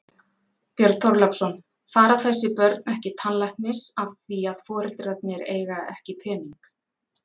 Björn Þorláksson: Fara þessi börn ekki tannlæknis af því að foreldrarnir eiga ekki pening?